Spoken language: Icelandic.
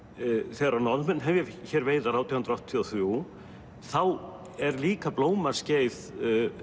þegar að Norðmenn hefja hér veiðar átján hundruð áttatíu og þrjú þá er líka blómaskeið